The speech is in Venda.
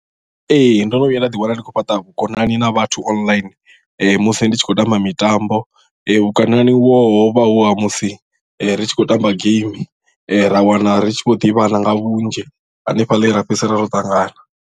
Ee ndo no vhuya nda ḓiwana ndi khou fhaṱa vhukonani na vhathu online musi ndi tshi khou tamba mitambo vhukonani uvho hovha hu ha musi ri tshi khou tamba geimi ra wana ri tshi vho ḓivhana nga vhunzhi hanefhaḽa he ra fhedzisela ro ṱangana.